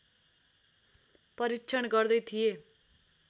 परीक्षण गर्दै थिए